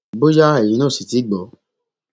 bóyá ẹyin náà ò sì tì í gbọ